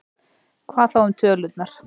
Hvað þá um tölurnar?